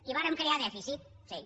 i vàrem crear dèficit sí